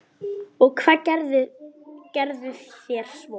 Og hvað gerðuð þér svo?